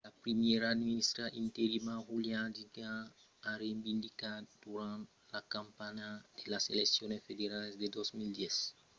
la primièra ministra interina julia gillard a reinvindicat durant la campanha de las eleccions federalas de 2010 que cresiá qu'austràlia deviá venir una republica a la fin del regne de la reina elisabèt ii